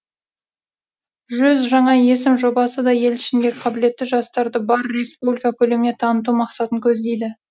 жүз жаңа есім жобасы да ел ішіндегі қабілетті жастарды бар республика көлеміне таныту мақсатын көздейді